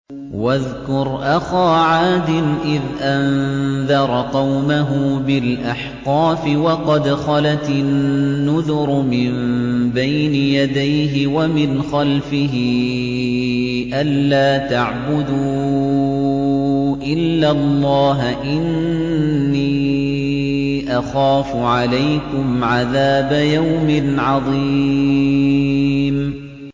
۞ وَاذْكُرْ أَخَا عَادٍ إِذْ أَنذَرَ قَوْمَهُ بِالْأَحْقَافِ وَقَدْ خَلَتِ النُّذُرُ مِن بَيْنِ يَدَيْهِ وَمِنْ خَلْفِهِ أَلَّا تَعْبُدُوا إِلَّا اللَّهَ إِنِّي أَخَافُ عَلَيْكُمْ عَذَابَ يَوْمٍ عَظِيمٍ